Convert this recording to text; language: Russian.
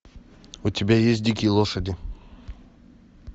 у тебя есть дикие лошади